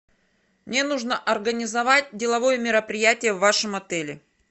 мне нужно организовать деловое мероприятие в вашем отеле